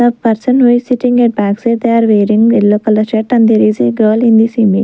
the person who is sitting at backside they are wearing yellow colour shirt and there is a girl in the .